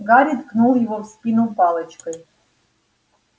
гарри ткнул его в спину палочкой